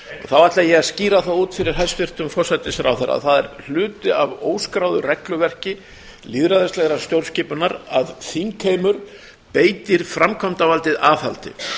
þá ætla ég að skýra það út fyrir hæstvirtum forsætisráðherra það er hluti af óskráðu regluverki lýðræðislegrar stjórnskipunar að þingheimur beitir framkvæmdarvaldið aðhaldi